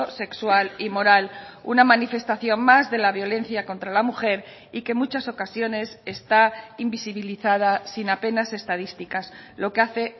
sexual y moral una manifestación más de la violencia contra la mujer y que en muchas ocasiones está invisibilizada sin apenas estadísticas lo que hace